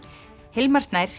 Hilmar Snær